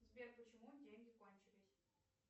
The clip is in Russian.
сбер почему деньги кончились